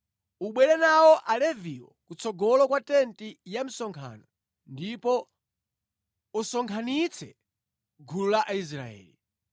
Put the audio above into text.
Ubwere nawo Aleviwo kutsogolo kwa tenti ya msonkhano ndipo usonkhanitse gulu la Aisraeli.